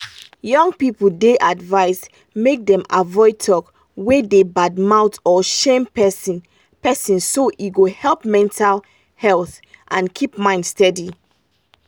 young people dey advised make dem avoid talk wey dey bad mouth or shame person person so e go help mental health and keep mind steady.